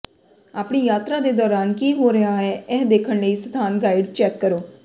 ਆਪਣੀ ਯਾਤਰਾ ਦੇ ਦੌਰਾਨ ਕੀ ਹੋ ਰਿਹਾ ਹੈ ਇਹ ਦੇਖਣ ਲਈ ਸਥਾਨ ਗਾਈਡ ਚੈੱਕ ਕਰੋ